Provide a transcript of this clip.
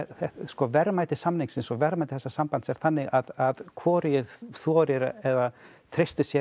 verðmæti samningsins og verðmæti þessa sambands er þannig að hvorugir þora eða treysta sér